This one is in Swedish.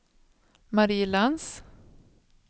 Marie Lantz